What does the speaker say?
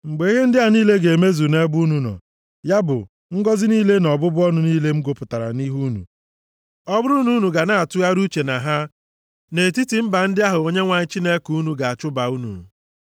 Mgbe ihe ndị a niile ga-emezu nʼebe unu nọ, ya bụ, ngọzị niile na ọbụbụ ọnụ niile m gụpụtara nʼihu unu, ọ bụrụ na unu ga na-atụgharị uche na ha nʼetiti mba ndị ahụ Onyenwe anyị Chineke unu ga-achụba unu,